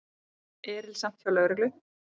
Erilsamt hjá lögreglu